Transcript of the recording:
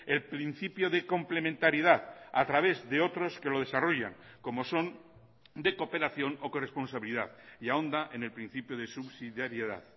el principio de complementariedad a través de otros que lo desarrollan como son de cooperación o corresponsabilidad y ahonda en el principio de subsidiariedad